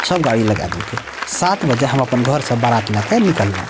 सब गाडी लगा देलके सात बजे हम अपन घर से बारात ले के निक्कलों।